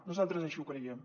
nosaltres així ho creiem